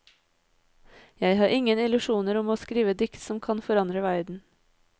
Jeg har ingen illusjoner om å skrive dikt som kan forandre verden.